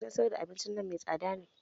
Gidan sayar da abinci nan mai tsada ne